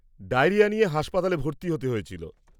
Diarrhoea নিয়ে হাসপাতালে ভর্তি হতে হয়েছিল।